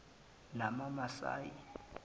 namamasayi